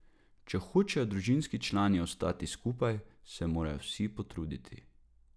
Če hočejo družinski člani ostati skupaj, se morajo vsi potruditi.